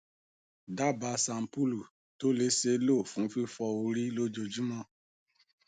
daba shampulu ti o le ṣee lo fun fifọ ori lojoojumọ